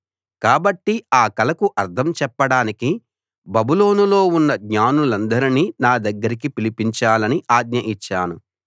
కాబట్టి ఆ కలకు అర్థం చెప్పడానికి బబులోనులో ఉన్న జ్ఞానులనందరినీ నా దగ్గరికి పిలిపించాలని ఆజ్ఞ ఇచ్చాను